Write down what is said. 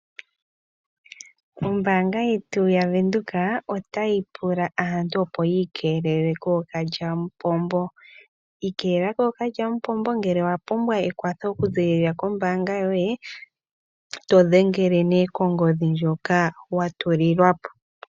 Ombaanga yetu yavenduka otayi pula aantu opo yiigamene kookalyamupombo. Ikeelela kookalyamupombo ngele owa pumbwa ekwatho okuziilila kombaanga yoye to dhengele ne konomola ndjoka wa tulilwapo.